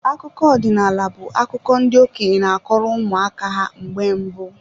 Akụkọ ọdinaala bu akụkọ ndị okenye n'akọrọ ụmụ aka ha na mgbe mbụ.